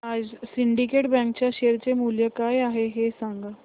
आज Syndicate Bank च्या share चे मूल्य काय आहे हे सांगा